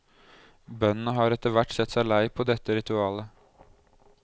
Bøndene har etter hvert sett seg lei på dette ritualet.